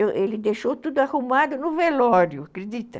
Ele deixou tudo arrumado no velório, acredita?